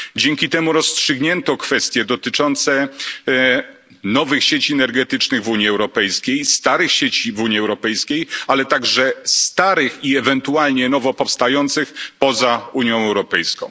Dzięki temu rozstrzygnięto kwestie dotyczące nowych sieci energetycznych w Unii Europejskiej, starych sieci w Unii Europejskiej, ale także starych i ewentualnie nowo powstających poza Unią Europejską.